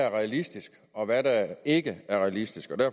er realistisk og hvad der ikke er realistisk